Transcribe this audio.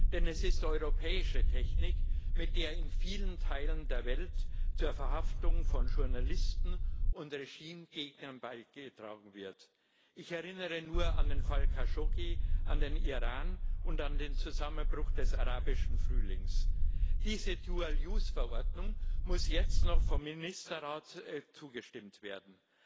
Denn es ist europäische Technik, mit der in vielen Teilen der Welt zur Verhaftung von Journalisten und Regimegegnern beigetragen wird. Ich erinnere nur an den Fall Khashoggi, an den Iran und dann den Zusammenbruch des Arabischen Frühlings. Dieser Dual Use Verordnung muss jetzt noch vom Ministerrat zugestimmt werden.